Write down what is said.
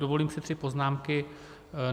Dovolím si tři poznámky.